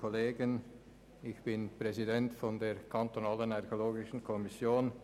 Ich bin Präsident der kantonalen Fachkommission für Archäologie (ARKO).